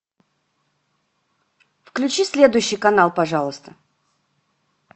включи следующий канал пожалуйста